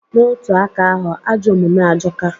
N'otu aka ahụ, ajọ omume ajọka.